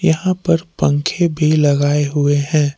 यहां पर पंखे भी लगाए हुए हैं।